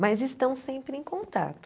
Mas estão sempre em contato.